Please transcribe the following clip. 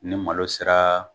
Ne malo sera